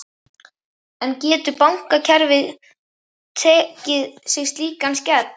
En getur bankakerfið tekið sig slíkan skell?